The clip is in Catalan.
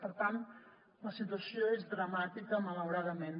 per tant la situació és dramàtica malauradament